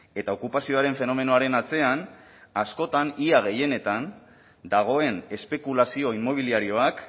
eta okupazioaren fenomenoaren atzean askotan ia gehienetan dagoen espekulazio inmobiliarioak